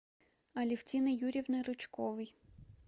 алевтины юрьевны рычковой